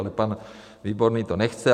Ale pan Výborný to nechce.